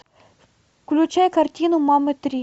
включай картину мамы три